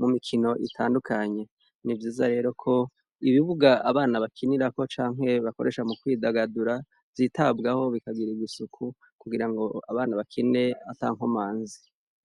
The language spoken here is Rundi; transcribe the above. mu mikino itandukanye. Ni vyiza rero ko, ibibuga abana bakinirako canke bakoresha mu kwidagadura vyitabwaho bikagirirwa isuku kugira ngo abana bakine atankomanzi.